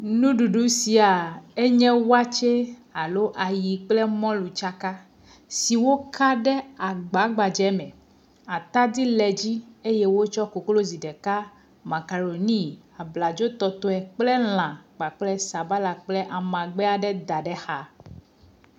Nuɖuɖu sia enye watsɛ alo ayi kple mɔlu tsaka si woka ɖe agba gbadze me. Atadi le edzi eye wotsɔ koklozi ɖeka, makaɖoni, abladzotɔtɔe kple lã kpakple sabala kple amagbe aɖe dz ɖe exa.